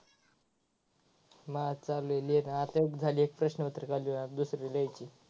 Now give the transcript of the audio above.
माझा चालू आहे लिहिन आता एक झाली एक प्राशपत्रिक आता दुसरी लिहायची.